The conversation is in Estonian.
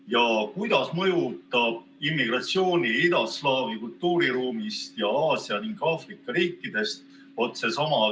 Ja kuidas mõjutab see eelnõu immigratsiooni idaslaavi kultuuriruumist ja Aasia ning Aafrika riikidest?